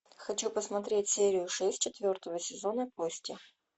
хочу посмотреть серию шесть четвертого сезона кости